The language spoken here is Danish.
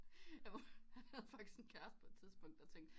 Han havde faktisk en kæreste på et tidspunkt der tænkte